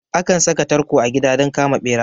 Akan saka tarko a gida don kama ɓera